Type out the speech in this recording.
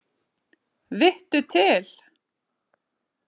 Vittu til!